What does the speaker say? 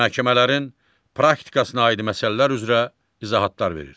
Məhkəmələrin praktikasına aid məsələlər üzrə izahatlar verir.